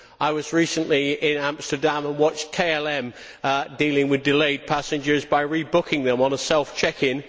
I was recently in Amsterdam and watched KLM dealing with delayed passengers by rebooking them on a self check in.